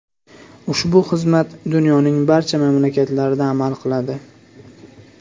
Ushbu xizmat dunyoning barcha mamlakatlarida amal qiladi.